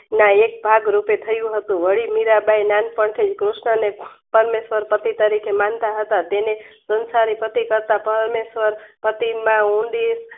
ના એક ભાગ રુપે થયું હતું વળી મીરાંબાઈ નાનપણ થી કૃષ્ણને પરમેશ્વર પતિ તરીકે માનતા હતા તેને સંસારી પતિ કરતા પરમેશ્વર પાટીમાં ઊંડી